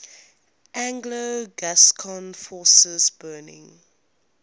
anglo gascon forces burning